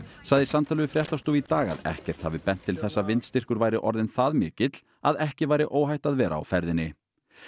sagði í samtali við fréttastofu í dag að ekkert hafi bent til þess að vindstyrkur væri orðinn það mikill að ekki væri óhætt að vera á ferðinni